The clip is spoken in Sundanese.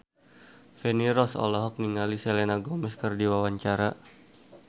Feni Rose olohok ningali Selena Gomez keur diwawancara